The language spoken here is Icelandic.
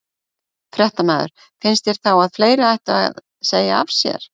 Fréttamaður: Finnst þér þá að fleiri ættu að segja af sér?